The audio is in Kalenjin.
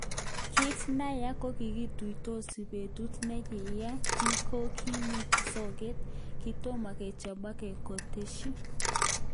Kit neya kokikituitosi betut nekiya kiykokimusoge kitomo kechopoge, koteshi.